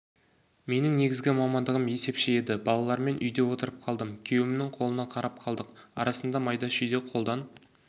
менің негізі мамандығым есепші еді балалармен үйде отырып қалдым күйеуімнің қолына қарап қалдық арасында майда-шүйде қолдан